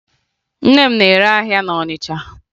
Nne m na-ere ahịa na Ọnịcha